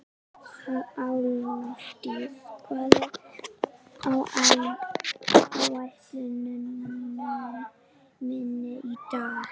Álfdís, hvað er á áætluninni minni í dag?